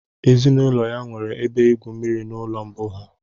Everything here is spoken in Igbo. Ezinụlọ ya nwere ebe igwu mmiri n'ụlọ mbụ ha